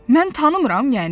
Mən tanımıram yəni?